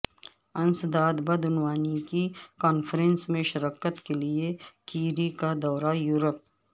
انسداد بدعنوانی کی کانفرنس میں شرکت کے لیے کیری کا دورہ یورپ